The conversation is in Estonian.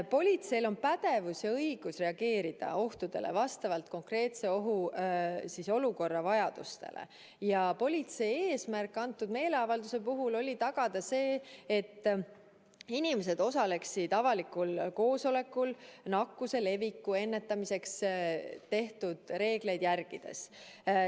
Politseil on pädevus ja õigus reageerida ohtudele vastavalt konkreetse ohuolukorra vajadustele ja politsei eesmärk antud meeleavalduse puhul oli tagada see, et inimesed osaleksid avalikul koosolekul nakkuse leviku ennetamiseks tehtud reegleid järgides.